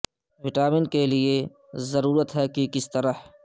vitamin کے لئے کی ضرورت ہے کہ کس طرح